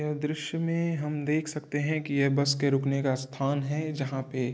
यह दृश्य में हम देख सकते हैं कि यह बस के रुकने का स्थान है जहाँ पे --